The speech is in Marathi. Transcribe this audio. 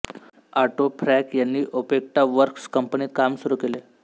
ऑटो फ्रॅंक यांनी ओपेक्टा वर्क्स कंपनीत काम सुरू केले